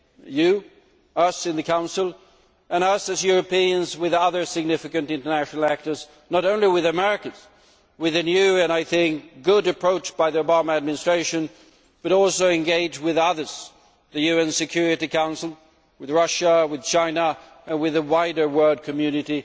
you, us in the Council and us as Europeans with other significant international actors, not only with Americans with a new and good approach by the Obama Administration, but also engage with others the UN Security Council, Russia, China, and with the wider world community.